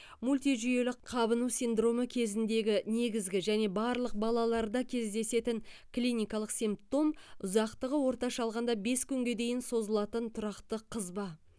мультижүйелі қабыну синдромы кезіндегі негізгі және барлық балаларда кездесетін клиникалық симптом ұзақтығы орташа алғанда бес күнге дейін созылатын тұрақты қызба